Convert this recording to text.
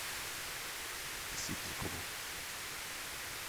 ситдикову